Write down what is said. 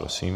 Prosím.